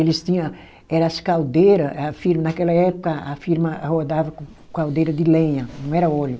Eles tinha aquelas caldeira. A firma, naquela época, a firma rodava com caldeira de lenha, não era óleo.